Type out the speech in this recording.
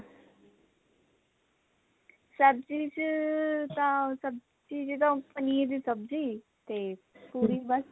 ਸਬਜੀ ਚ ਤਾਂ ਸਬਜੀ ਚ ਤਾਂ ਪਨੀਰ ਦੀ ਸਬਜੀ ਤੇ ਪੁਰੀ ਬਸ